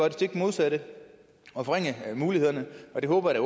det stik modsatte og forringe mulighederne og det håber jeg